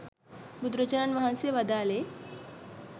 බුදුරජාණන් වහන්සේ වදාළේ